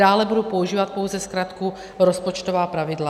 Dále budu používat pouze zkratku rozpočtová pravidla.